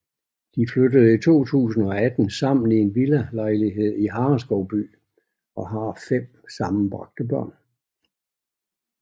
De flyttede i 2018 sammen i en villalejlighed i Hareskovby og har fem sammenbragte børn